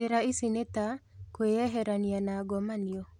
Njĩra ici nĩ ta; kwĩeherania na ngomanio